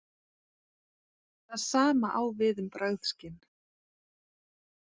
Það sama á við um bragðskyn.